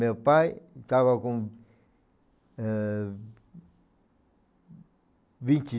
Meu pai estava com, eh, vinte